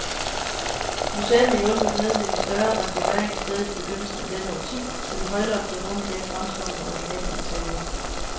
Museet har hjulpet med ved en større restaurering af stedet i begyndelsen af dette årti, så de højloftede rum i dag fremstår med originalt interiør.